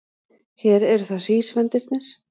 Hér eru það hrísvendirnir.